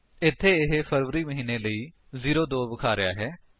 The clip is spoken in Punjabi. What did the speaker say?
ਇੱਥੇ ਇਹ ਫਰਵਰੀ ਮਹੀਨੇ ਲਈ 02 ਵਿਖਾ ਰਿਹਾ ਹੈ